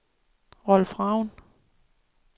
Rolf Ravn